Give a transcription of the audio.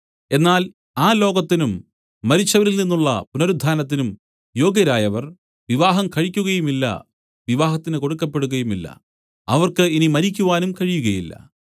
എന്നാൽ ആ ലോകത്തിനും മരിച്ചവരിൽ നിന്നുള്ള പുനരുത്ഥാനത്തിനും യോഗ്യരായവർ വിവാഹം കഴിക്കുകയുമില്ല വിവാഹത്തിന് കൊടുക്കപ്പെടുകയുമില്ല അവർക്ക് ഇനി മരിക്കുവാനും കഴിയുകയില്ല